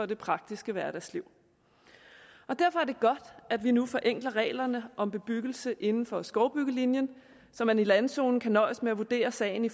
det praktiske hverdagsliv derfor er det godt at vi nu forenkler reglerne om bebyggelse inden for skovbyggelinjen så man i landzonen kan nøjes med at vurdere sagen i